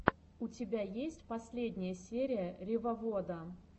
у тебя есть последняя серия ревовода